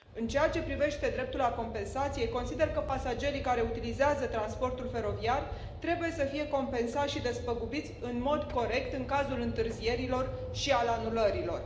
În ceea ce privește dreptul la compensație, consider că pasagerii care utilizează transportul feroviar trebuie să fie compensați și despăgubiți în mod corect în cazul întârzierilor și al anulărilor.